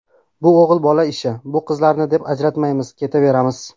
Bu o‘g‘il bola ishi, bu qizlarniki deb ajratmaymiz, ketaveramiz.